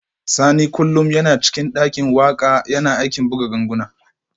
Sani kullum yana cikin dakin waka yana aikin buga ganguna